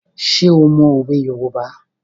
Ṣé o mọ òwe Yorùbá?